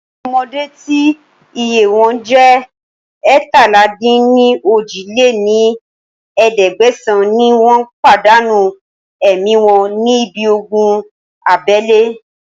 Àwọn ọmọdé tí iye wọn jẹ́ eétalá-dín-ní-ojì lé ní ẹ̀ẹ́dẹ́gbẹ́sán ni wọn pàdánù ẹ̀mí wọn ní ibi ogun abẹ́lé